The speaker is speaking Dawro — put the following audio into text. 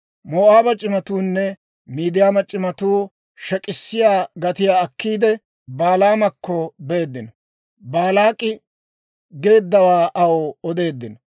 Moo'aaba c'imatuunne Midiyaama c'imatuu shek'k'issiyaa gatiyaa akkiide, Balaamakko beeddino. Baalaak'i geeddawaa aw odeeddino.